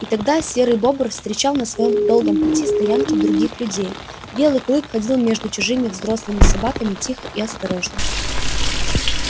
и тогда серый бобр встречал на своём долгом пути стоянки других людей белый клык ходил между чужими взрослыми собаками тихо и осторожно